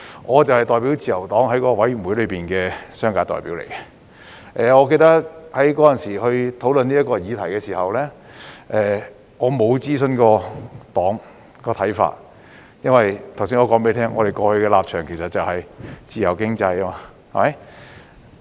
我就是自由黨在該委員會的商界代表，記得在當時討論這項議題時，我沒有諮詢政黨的看法，因為剛才我也提到，我們過去的立場其實是奉行自由經濟。